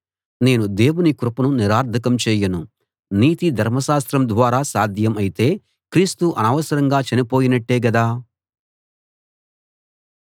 నేను దేవుని కృపను నిరర్థకం చేయను నీతి ధర్మశాస్త్రం ద్వారా సాధ్యం అయితే క్రీస్తు అనవసరంగా చనిపోయినట్టే గదా